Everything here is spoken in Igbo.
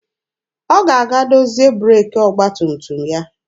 Ọ ga-aga dozie breeki ọgba tum tum ya.